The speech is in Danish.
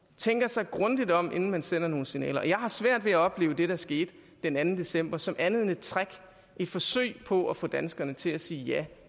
tænker sig grundigt om inden man sender nogle signaler og jeg har svært ved at opleve det der skete den anden december som andet end et trick og et forsøg på at få danskerne til at sige ja